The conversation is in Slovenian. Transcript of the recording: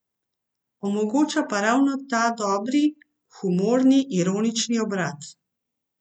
Omogoča pa ravno ta dobri, humorni, ironični obrat.